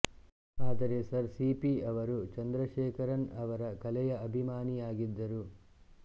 ಆದರೆ sir CP ಅವರು ಚಂದ್ರಶೇಖರನ್ ಅವರ ಕಲೆಯ ಅಭಿಮಾನಿಯಾಗಿದ್ದರು